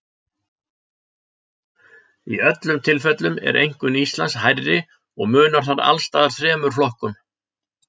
Í öllum tilfellum er einkunn Íslands hærri og munar þar alls staðar þremur flokkum.